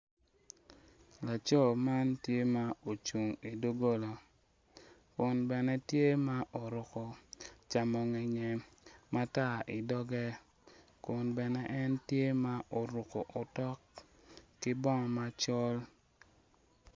Laco ma ocung i doggola kun bene tye ma oruko camo ngeye matar i doge kun bene en tye ma oruko otok ki bongo macol.